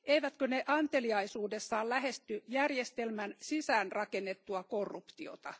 Eivätkö ne anteliaisuudessaan lähesty järjestelmän sisäänrakennettua korruptiota?